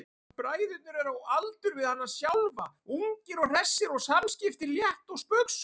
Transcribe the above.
Bræðurnir eru á aldur við hana sjálfa, ungir og hressir og samskiptin létt og spaugsöm.